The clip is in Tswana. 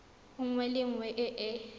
nngwe le nngwe e e